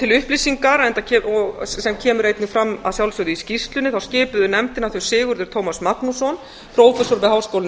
til upplýsinga sem kemur einnig fram að sjálfsögðu í skýrslunni skipuðu nefndina þau sigurður tómas magnússon prófessor við háskólann í